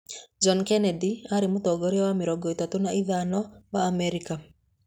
John Kennedy aarĩ Mũtongoria wa mĩrongo ĩtatũ na ĩthano wa Amerika.